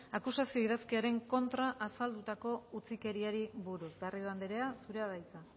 akusazio idazkiaren kontra azaldutako utzikeriari buruz garrido andrea zurea da hitza